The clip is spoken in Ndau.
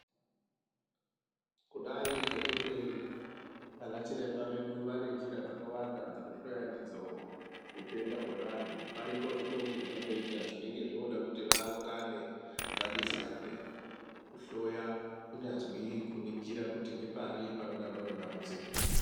Kudai ngekuti ana chiremba vedu vane njira dzakawanda dzekuhloya ndidzo utenda hwevantu paripo zvimweni zvavanoita zvinenge zvoda kuti vaungane vadetserane kuhloya kunyazwi kuningira kuti ngepari panodaro pane dambudziko.